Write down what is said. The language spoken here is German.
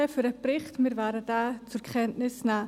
Wir werden diesen zur Kenntnis nehmen.